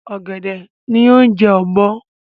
Ọ̀gẹ̀dẹ̀ ni oúnjẹ ọ́bọ́